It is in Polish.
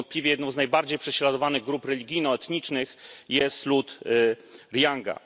Niewątpliwie jedną z najbardziej prześladowanych grup religijno etnicznych jest lud Rohingja.